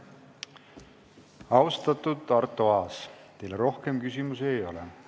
Austatud Arto Aas, teile rohkem küsimusi ei ole.